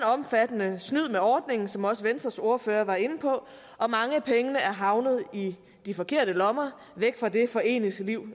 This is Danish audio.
omfattende snyd med ordningen som også venstres ordfører var inde på og mange af pengene er havnet i de forkerte lommer væk fra det foreningsliv